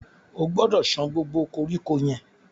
O gbọdọ̀ san gbogbo koríko yẹn.